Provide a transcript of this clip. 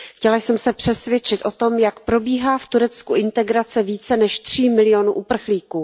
Chtěla jsem se přesvědčit o tom, jak probíhá v Turecku integrace více než tří milionů uprchlíků.